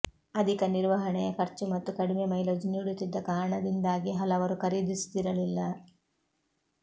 ಅಧಿಕ ನಿರ್ವಹಣೆಯ ಖರ್ಚು ಮತ್ತು ಕಡಿಮೆ ಮೈಲೇಜ್ ನೀಡುತ್ತಿದ್ದ ಕಾರಣಾದಿಂದಾಗಿ ಹಲವರು ಖರೀದಿಸುತ್ತಿರಲಿಲ್ಲ